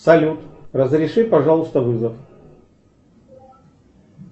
салют разреши пожалуйста вызов